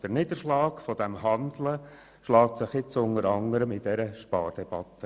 Der Niederschlag dieses Handelns zeigt sich jetzt unter anderem in dieser Spardebatte.